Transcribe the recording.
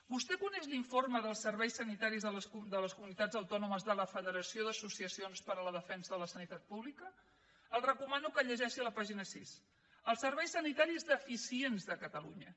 vostè coneix l’informe dels serveis sanitaris de les comunitats autònomes de la federació d’associacions per a la defensa de la sanitat pública li recomano que el llegeixi a la pàgina sis els serveis sanitaris deficients de catalunya